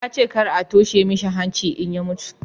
ya ce kar a toshe mishi hanci in ya mutu